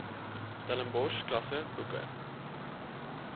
stellenbosch klasse boeke